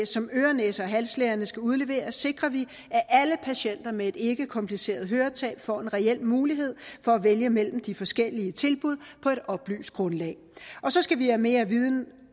som øre næse og halslægerne skal udlevere sikrer vi at alle patienter med et ikkekompliceret høretab får en reel mulighed for at vælge mellem de forskellige tilbud på et oplyst grundlag så skal vi have mere viden